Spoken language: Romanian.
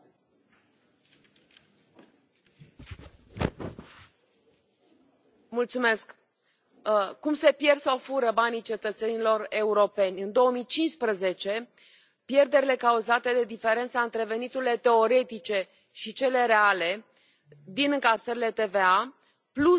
Doamna președintă, cum se pierd sau se fură banii cetățenilor europeni? În 2015, pierderile cauzate de diferența între veniturile teoretice și cele reale din încasările TVA, plus frauda TVA, în Uniune au fost de circa 160 de miliarde de euro.